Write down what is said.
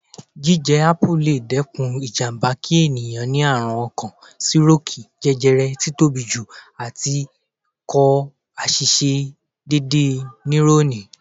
Jíjẹ Ápù le dẹ́kun ìjàmbá kí ẹ̀yàn ni àrùn ọkàn, sírókìì, jẹjẹrẹ, tí tóbi jù, àti kò àìṣisẹ́ déédéé níúrọ́nì.